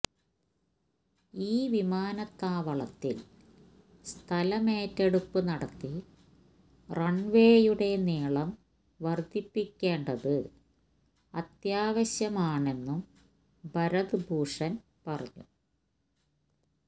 ഈ വിമാനത്താവളത്തിൽ സ്ഥലമേറ്റെടുപ്പ് നടത്തി റൺവേയുടെ നീളം വർദ്ധിപ്പിക്കേണ്ടത് അത്യാവശ്യമാണെന്നും ഭരത് ഭൂഷൺ പറഞ്ഞു